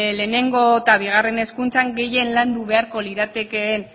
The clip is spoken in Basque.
lehenengo eta bigarren hezkuntzan gehien landu beharko liratekeen